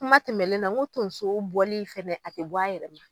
Kuma tɛmɛlen na n ko tonso bɔli, a ti bɔ a yɛrɛ ma